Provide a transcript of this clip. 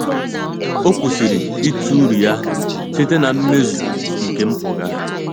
Ọ́ kwụ́sị̀rị̀ ítụ́ uru ya site na mmezu nke mpụga.